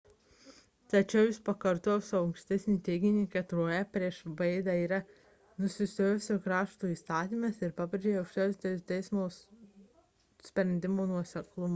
tačiau jis pakartojo savo ankstesnį teiginį kad roe prieš wade'ą yra nusistovėjęs krašto įstatymas ir pabrėžė aukščiausiojo teismo sprendimų nuoseklumo svarbą